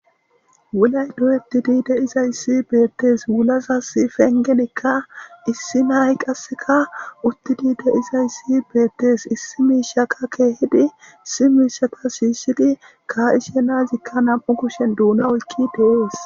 wulay doyettidi de izayssi beettes wulaza sifengenekka issi nayi qasseka uttidi de izayssi beettees issi miishaka keehidi issi miishaka shiyishidi ka7ishe nazikka nam7u kushen duuna oykki deees